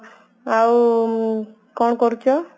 ଆଉ କଣ କରୁଛ